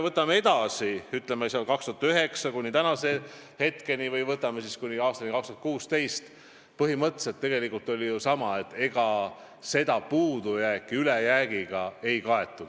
Võtame edasi, 2009. aastast kuni aastani 2016: põhimõtteliselt oli olukord sama, ega seda puudujääki ülejäägiga ei kaetud.